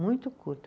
Muito curta